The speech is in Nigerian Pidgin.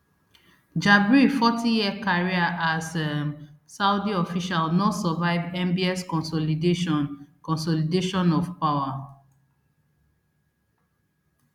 jabri fortyyear career as um saudi official no survive mbs consolidation consolidation of power